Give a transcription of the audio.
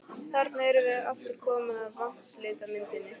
Þarna erum við aftur komin að vatnslitamyndinni.